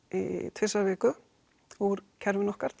tvisvar í viku úr dreifikerfinu okkar